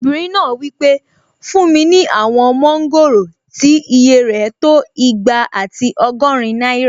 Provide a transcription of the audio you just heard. Obìnrin náà wí pé "fún mi ní àwọn mọ́ngòrò tí ìyè rẹ̀ tó igba àti ọgọ́rin náírà!"